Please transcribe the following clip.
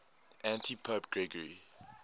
antipope gregory